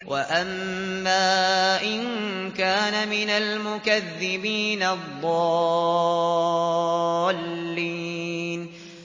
وَأَمَّا إِن كَانَ مِنَ الْمُكَذِّبِينَ الضَّالِّينَ